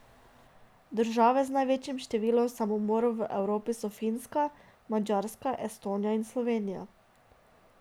Države z največjim številom samomorov v Evropi so Finska, Madžarska, Estonija in Slovenija.